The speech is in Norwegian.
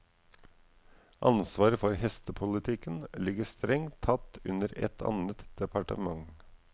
Ansvaret for hestepolitikken ligger strengt tatt under et annet departement.